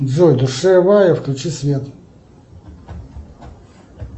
джой душевая включи свет